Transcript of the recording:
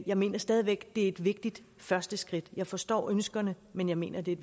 jeg mener stadig væk det er et vigtigt første skridt jeg forstår ønskerne men jeg mener at det er